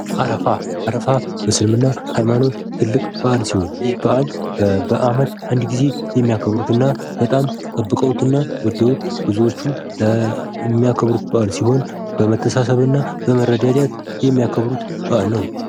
አረፋ አረፋ በእስልምና ሃይማኖት ትልቅ በአል ሲሆን ይህ በአል በአመት አንድ ጊዜ የሚያከብሩትነ በጣም ጠብቀውትና ወደውት ብዙዎቹ የሚያከብሩት በአል ሲሆን በመተሳሰብ እና በመረዳዳት የሚያከብሩት በአል ነው።